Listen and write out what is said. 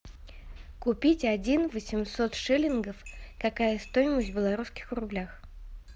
купить один восемьсот шиллингов какая стоимость в белорусских рублях